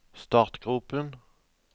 startgropen